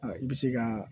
I bɛ se ka